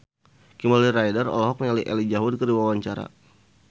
Kimberly Ryder olohok ningali Elijah Wood keur diwawancara